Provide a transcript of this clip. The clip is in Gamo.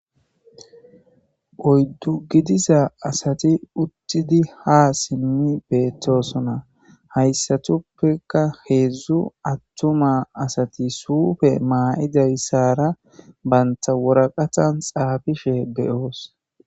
oyddu gidiza asati uttidi ha simmi beettosona hayssatuppeka heedzdzu attuma asati suufe maa7idayssara banta woraqatan xaafishe beyoos.